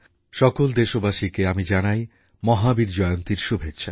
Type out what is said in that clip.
সকল দেশবাসীকে আমি জানাই মহাবীর জয়ন্তীর শুভেচ্ছা